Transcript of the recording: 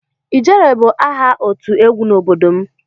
"Ijere"bụ aha otu egwu n'obodo m.